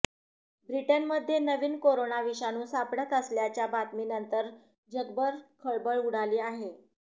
ब्रिटनमध्ये नवीन कोरोना विषाणू सापडत असल्याच्या बातमीनंतर जगभर खळबळ उडाली आहे